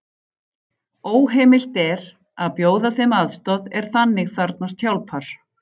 Óheimilt er að bjóða þeim aðstoð er þannig þarfnast hjálpar.